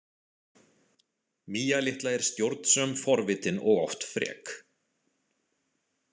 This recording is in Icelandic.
Mía litla er stjórnsöm, forvitin og oft frek.